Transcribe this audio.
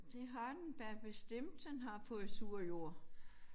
Det har den da bestemt den har fået sur jord